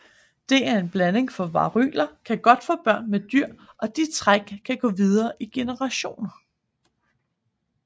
Det er en blanding for varyler kan godt få børn med dyr og de træk kan gå videre i generationer